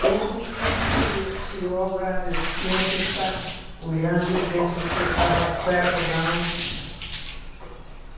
Tudo quanto fosse obra, eu tinha que estar olhando e vendo se estava certo ou não e